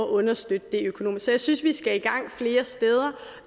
at understøtte det økonomisk så jeg synes vi skal i gang flere steder